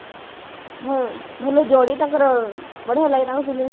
ଭଲ ଯୋଡି ତାଙ୍କର ଆଉ ବଢିଆ ଲାଗେ ତାଙ୍କ film ସବୁ